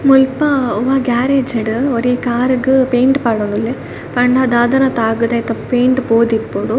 ಮುಲ್ಪ ಒವಾ ಗ್ಯಾರೇಜ್ ಡು ಒರಿ ಕಾರ್ ಗು ಪೈಂಟ್ ಪಾಡೊಂದುಲ್ಲೆ ಪಂಡ ದಾದನ ತಾಗ್ ದು ಐತ ಪೈಂಟ್ ಪೋದಿಪ್ಪೊಡು.